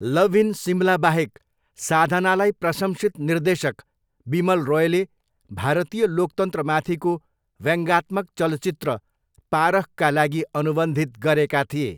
Love in सिमलाबाहेक, साधनालाई प्रशंसित निर्देशक विमल रोयले भारतीय लोकतन्त्रमाथिको व्यङ्ग्यात्मक चलचित्र पारखका लागि अनुबन्धित गरेका थिए।